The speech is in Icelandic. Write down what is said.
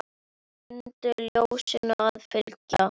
Mundu ljósinu að fylgja.